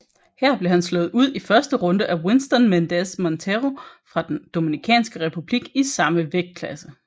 Her blev han slået ud i første runde af Winston Méndez Montero fra Den dominikanske republik i samme vægtklasse